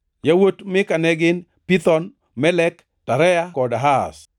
Yawuot Mika ne gin: Pithon, Melek, Tarea kod Ahaz.